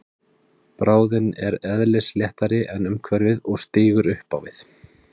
Bráðin er eðlisléttari en umhverfið og stígur upp á við.